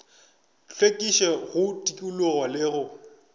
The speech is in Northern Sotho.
hlwekišo go tikologo le go